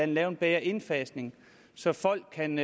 lave en bedre indfasning så folk kan